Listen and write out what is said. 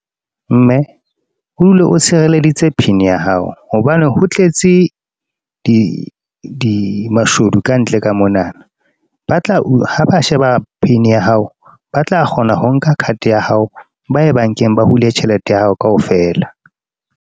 Mme, o dule o sireleditse pin ya hao. Hobane ho tletse, di mashodu kantle ka mona. Ba tla, ha ba sheba pin ya hao, ba tla kgona ho nka card ya hao. Ba ye bank-eng, ba hule tjhelete ya hao kaofela.